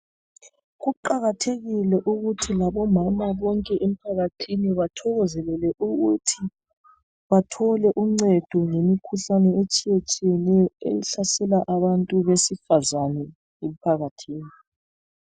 Kuqakathekile ukuthi omama bonke emphakathini bathokozelele ukuthi bathole uncedo ngemikhuhlane etshiyetshiyeneyo ehlasela abantu besifazana emphakathini